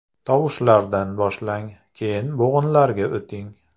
Tovushlardan boshlang, keyin bo‘g‘inlarga o‘ting.